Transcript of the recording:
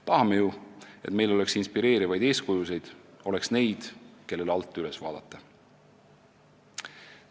Tahame ju, et meil oleks inspireerivaid eeskujusid – neid, kellele alt üles vaadata.